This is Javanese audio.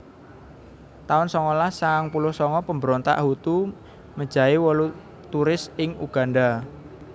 taun songolas sangang puluh sanga Pemberontak Hutu mejahi wolu turis ing Uganda